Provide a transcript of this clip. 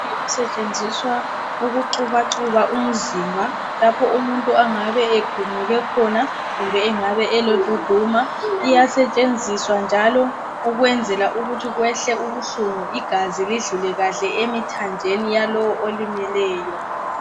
osetshenziswa ukuxubaxuba umzimba lapho umuntu ongabe egumuke khona kumbe engabe eloduduma iyasetshenziswa njalo ukwenzela ukuthi kwehle ubuhlungu igazi lidlule kahle emithanjeni yalowo olimeleyo